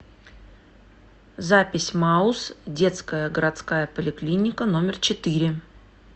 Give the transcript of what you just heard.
запись мауз детская городская поликлиника номер четыре